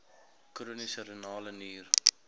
chroniese renale nier